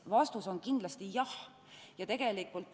Vastus on kindlasti "Jah".